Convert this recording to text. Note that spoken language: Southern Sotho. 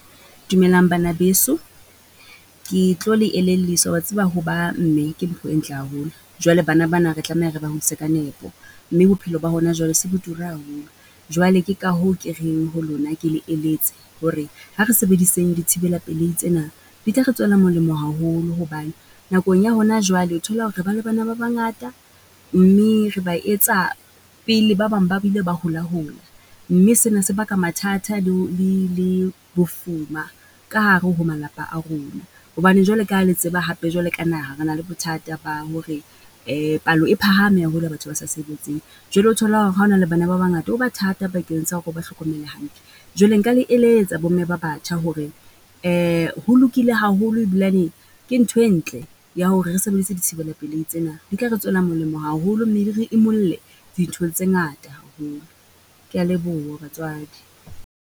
Dumelang bana beso, ke tlo le elelliswa wa tseba ho ba mme, ke mpho e ntle haholo. Jwale bana ba na re tlameha re ba hudise ka nepo, mme bophelo ba hona jwale se bo tura haholo. Jwale ke ka hoo ke reng ho lona ke le eletse hore, ha re sebediseng dithibela pelehi tsena, di tla re tswela molemo haholo hobane, nakong ya hona jwale thola hore re ba le bana ba bangata, mme re ba etsa pele ba bang ba bile ba hola hola. Mme sena se baka mathata le ho, le le bofuma ka hare ho malapa a rona. Hobane jwale ka ha le tseba hape jwale ka naha, re na le bothata ba hore palo e phahame haholo ya batho ba sa sebetseng. Jwale o thola hore ha o na le bana ba bangata ho ba thata bakeng sa hore o ba hlokomele hantle. Jwale nka le eletsa bo mme ba batjha hore ho lokile haholo e bilane, ke ntho e ntle ya hore re sebeditse dithibela pelehi tsena, di tla re tswela molemo haholo mme di re imulle dinthong tse ngata . Ke ya leboha batswadi.